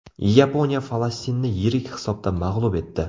Yaponiya Falastinni yirik hisobda mag‘lub etdi.